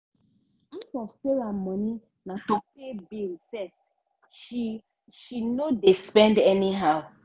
half of sarah money na to pay bill first she she no dey spend any how.